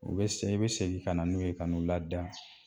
U bɛ i bɛ segin ka na n'u ye ka n'u lada